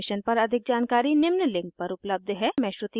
इस पर अधिक जानकारी निम्न link पर उपलब्ध है